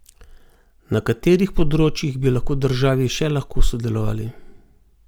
Na katerih področjih bi lahko državi še lahko sodelovali?